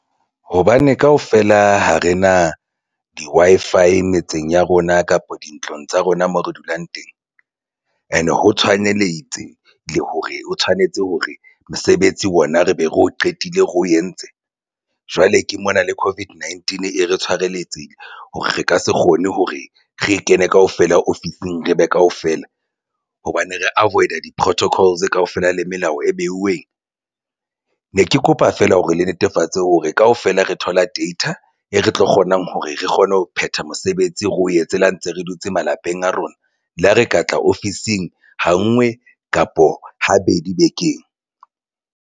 Hobane kaofela ha re na di Wi-Fi metseng ya rona kapa dintlong tsa rona moo re dulang teng and ho tshwaneletse le hore o tshwanetse hore mosebetsi wona re be re o qetile re o entse jwale ke mona le COVID-19 e re tshireletsehile hore re ka se kgone hore re kene kaofela ofising re be kaofela hobane re avoid-a di-protocols kaofela le melao e beuweng ne ke kopa feela hore le netefatse hore kaofela re thola data e re tlo kgonang hore re kgone ho phetha mosebetsi re o etse le ha ntse re dutse malapeng a rona le ha re ka tla ofising ha ngwe kapa habedi bekeng.